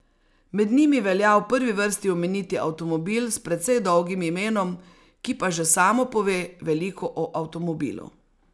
Med njimi velja v prvi vrsti omeniti avtomobil s precej dolgim imenom, ki pa že samo pove veliko o avtomobilu.